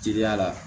Jeliya la